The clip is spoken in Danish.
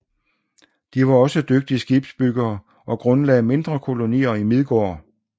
De var også dygtige skibsbyggere og grundlagde mindre kolonier i Midgård